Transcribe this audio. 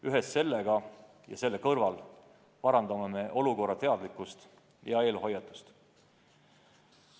Ühes sellega ja selle kõrval parandame olukorrast teadlikkust ja eelhoiatust.